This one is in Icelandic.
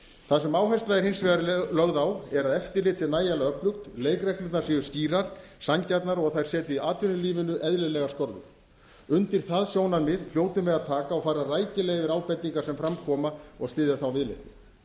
það sem áhersla er hins vegar lögð á er að eftirlit sé nægjanlega öflugt leikreglurnar séu skýrar sanngjarnar og þær setji atvinnulífinu eðlilegar skorður undir það sjónarmið hljótum við að taka og fara rækilega yfir ábendingar sem fram koma og styðja þá viðleitni